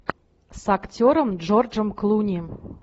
с актером джорджем клуни